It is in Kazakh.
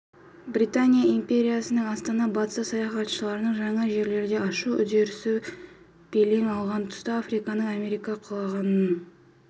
британия империясының астанасы батыс саяхатшыларының жаңа жерлерді ашу үдерісі белең алған тұста африканың америка құрлығының